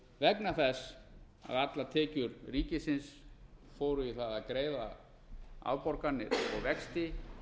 vegna þess að allar tekjur ríkisins fóru í það að greiða afborganir og vexti